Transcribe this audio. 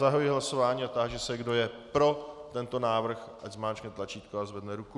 Zahajuji hlasování a táži se, kdo je pro tento návrh, ať zmáčkne tlačítko a zvedne ruku.